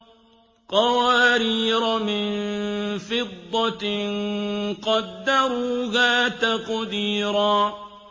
قَوَارِيرَ مِن فِضَّةٍ قَدَّرُوهَا تَقْدِيرًا